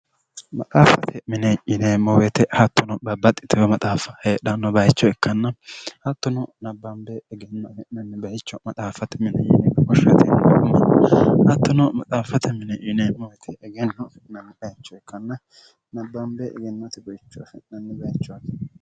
maxaaffate mine yinemmowete hattono babbaxxi teo maxaaffa heedhanno bayicho ikkanna hattono nabbaambee egenno fi'nnni bayicho maxaaffate mine yini moshratinimma hattono maxaaffate mineyinemowete egennofi'nnni byicho ikkann nabbaambee egennote bayichofi'nnni baichoti